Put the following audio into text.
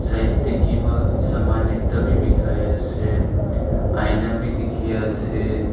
side teh kiba saman ekta be bikhai ase aina be dikhi ase.